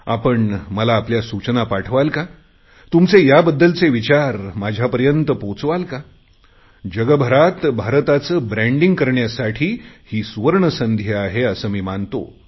आपण मला आपल्या सूचना पाठवाल का तुमचे याबद्दलचे विचार पोहचवाल का जगभरात भारताचे ब्रँडिंग करण्यासाठी ही सुवर्णसंधी आहे असे मी मानतो